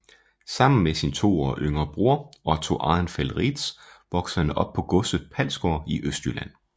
Sammen med sin to år yngre bror Otto Arenfeldt Reedtz voksede han op på godset Palsgaard i Østjylland